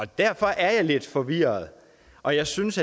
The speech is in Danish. derfor er jeg lidt forvirret og jeg synes